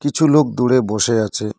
কিছু লোক দূরে বসে আছে।